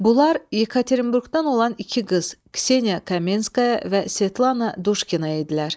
Bunlar Ekaterinburqdan olan iki qız, Kseniya Kamenskaya və Svetlana Duşkina idilər.